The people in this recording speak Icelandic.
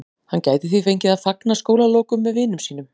Hann gæti því fengið að fagna skólalokum með vinum sínum.